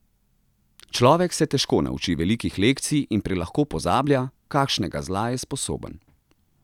Človek se težko nauči velikih lekcij in prelahko pozablja, kakšnega zla je sposoben.